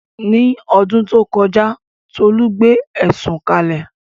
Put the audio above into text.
Ní ọdún tó kọjá, Tolu gbé ẹ̀sùn kalẹ̀